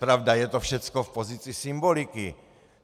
Pravda, je to všecko v pozici symboliky.